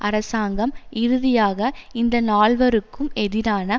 அரசாங்கம் இறுதியாக இந்த நால்வருக்கும் எதிரான